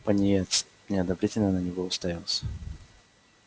пониетс неодобрительно на него уставился